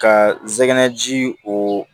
Ka zɛgɛnɛ ji o